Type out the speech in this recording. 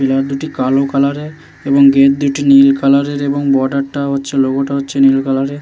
'' পিলা দুটি কালো ''''এবং গেট দুটি নীল কালার -এর | এবং বর্ডার -টা হচ্ছে লোগোটা হচ্ছে নীল কালার -এর ।''